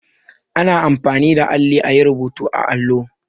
Ana anfani da alli a yi rubutu a allo.